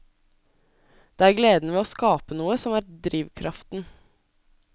Det er gleden ved å skape noe som er drivkraften.